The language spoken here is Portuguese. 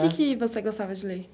O que que você gostava de ler?